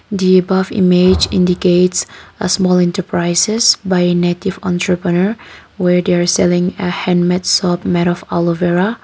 the above image indicates a small enterprises by native enterpreneur were they are selling hand made soap made of aloevera.